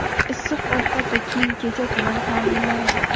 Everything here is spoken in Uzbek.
issiq ovqat va kiyim kechak bilan ta’minlanadi.